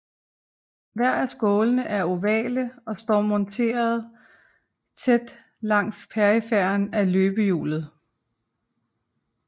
Hver af skålene er ovale og står monterede tæt langs periferien af løbehjulet